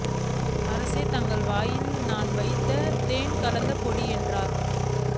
அரசே தங்கள் வாயில் நான் வைத்தது தேன் கலந்த பொடி என்றார்